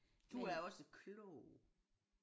Du er også klog